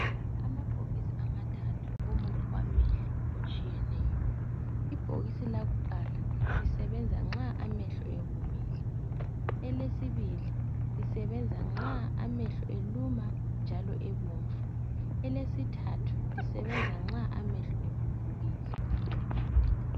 Amabhokisi amathathu womuthi wamehlo otshiyeneyo. Ibhokisi lakuqala lisebenza nxa amehlo ewomile, elesibili lisebenza nxa amehlo eluma njalo ebomvu elesithathu lisebenza nxa amehlo evuvukile.